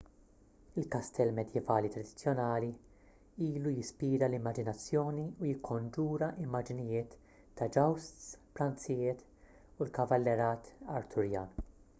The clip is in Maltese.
il-kastell medjevali tradizzjonali ilu jispira l-immaġinazzjoni u jikkonġura immaġnijiet ta' jousts pranzijiet u l-kavallerat arturjan